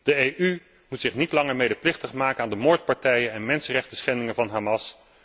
De EU moet zich niet langer medeplichtig maken aan de moordpartijen en mensenrechtenschendingen van Hamas.